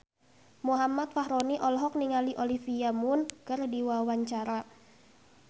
Muhammad Fachroni olohok ningali Olivia Munn keur diwawancara